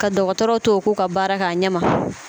Ka dɔgɔtɔrɔw to u k'u ka baara kɛ a ɲɛma.